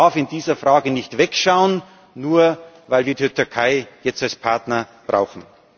Europa darf in dieser Frage nicht wegschauen, nur weil wir die Türkei jetzt als Partner brauchen.